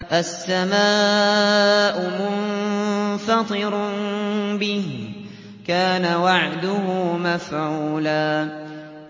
السَّمَاءُ مُنفَطِرٌ بِهِ ۚ كَانَ وَعْدُهُ مَفْعُولًا